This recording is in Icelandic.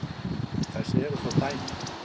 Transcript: Þess eru þó dæmi.